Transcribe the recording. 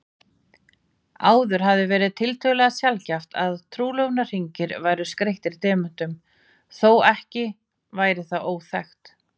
Áður hafði verið tiltölulega sjaldgæft að trúlofunarhringir væru skreyttir demöntum, þótt ekki væri það óþekkt.